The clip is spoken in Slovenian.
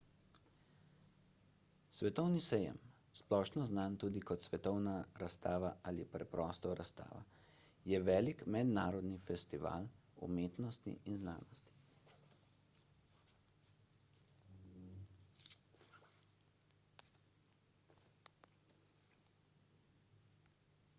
svetovni sejem splošno znan tudi kot svetovna razstava ali preprosto razstava je velik mednarodni festival umetnosti in znanosti